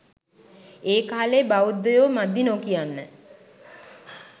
ඒකාලේ බෞද්ධයෝ මදි නොකියන්න